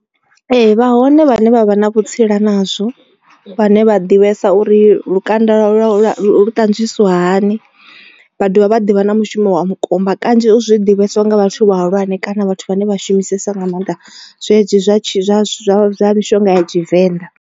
Ee vha hone vhane vha vha na vhutsila nazwo vhane vha ḓivhesa uri lukanda lwa lu ṱanzwisiwa hani. Vha dovha vha ḓivha na mushumo wa mukumba kanzhi zwi ḓivheswa nga vhathu vhahulwane kana vhathu vhane vha shumisesa nga maanḓa zwezwi zwa zwa zwa mishonga ya tshivenḓa.